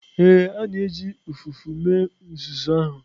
Ee, a na-eji ụfụfụ mee uzuzu ahụ.